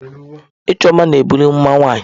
Ịchọ mma na-ebuli mma nwanyị.